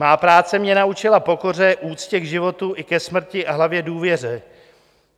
Má práce mě naučila pokoře, úctě k životu i ke smrti a hlavně důvěře.